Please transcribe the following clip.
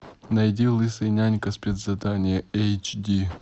найди лысый нянька спецзадание эйч ди